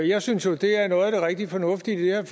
jeg synes jo at det er noget af det rigtig fornuftige i